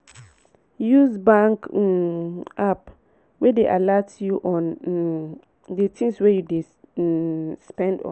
use bank um app wey dey alert you on um di things wey you dey um spend on